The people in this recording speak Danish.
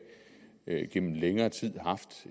gennem længere tid haft